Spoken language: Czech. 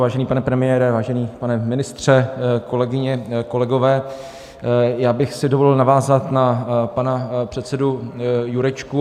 Vážený pane premiére, vážený pane ministře, kolegyně, kolegové, já bych si dovolil navázat na pana předsedu Jurečku.